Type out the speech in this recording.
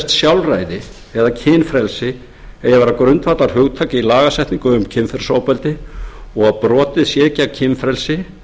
kynferðislegt sjálfræði eða kynfrelsi eigi að vera grundvallarhugtak í lagasetningu um kynferðisofbeldi og að brotið sé gegn kynfrelsi